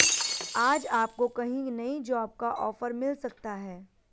आज आपको कहीं नई जॉब का ऑफर मिल सकता है